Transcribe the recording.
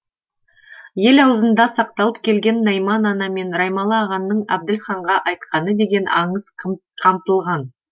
ел ауызында сақталып келген найман ана мен раймалы ағаның әбділханға айтқаны деген аңыз қамтылған